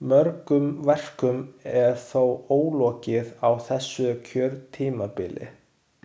Mörgum verkum er þó ólokið á þessu kjörtímabili.